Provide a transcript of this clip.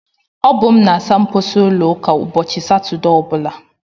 Ọ bụ m na-asa mposi ụlọ ụka ụbọchị Satọdee ọbụla.